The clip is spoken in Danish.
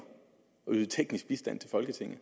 at yde teknisk bistand til folketinget